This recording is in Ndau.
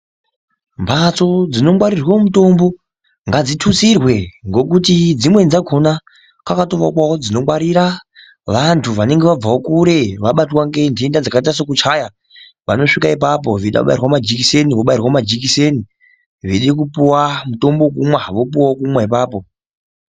Mbatso dzinongwarirwe mutombo ngadzithutsirwe ngokuti dzimweni dzakhona ngavatoakawo dzinongwarira vantu vanonga vabvawo kure ,vabatwa ngentenda dzakaita sokuchaya. Vanosvika ipapo veida kubairwa majikiseni, vobairwa majikiseni ,veida kupuwa mutombo wekumwa vopuwawo wekumwa ipapo.